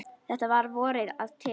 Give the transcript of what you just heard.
Þetta var að vori til.